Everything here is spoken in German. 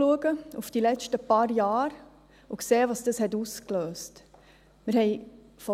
Nun können wir auf die letzten paar Jahre zurückschauen und sehen, was dies ausgelöst hat.